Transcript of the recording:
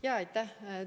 Jaa, aitäh!